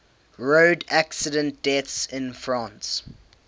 road accident deaths in france